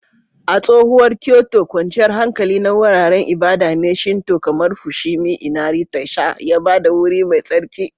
A tsohuwar Kyoto, kwanciyar hankali na wuraren ibada na Shinto kamar Fushimi Inari Taisha ya ba da wuri mai tsarki.